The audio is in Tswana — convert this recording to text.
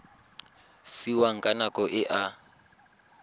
fiwang ka nako e a